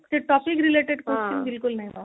ସେଇ topic related question ବିଲକୁଲ ନାଇଁ ବା